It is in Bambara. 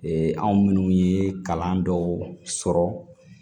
anw minnu ye kalan dɔw sɔrɔ